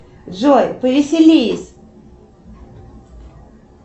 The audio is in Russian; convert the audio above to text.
джой повеселись